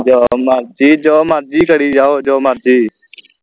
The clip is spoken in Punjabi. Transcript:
ਜੋ ਮਰਜੀ ਜੋ ਮਰਜੀ ਕਰਿ ਜਾਓ ਜੋ ਮਰਜੀ